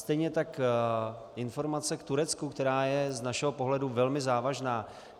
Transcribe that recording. Stejně tak informace k Turecku, která je z našeho pohledu velmi závažná.